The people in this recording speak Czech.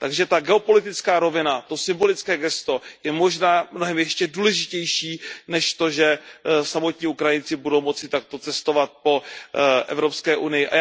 Takže ta geopolitická rovina, to symbolické gesto, je možná ještě mnohem důležitější než to, že samotní Ukrajinci budou moci takto cestovat po Evropské unii.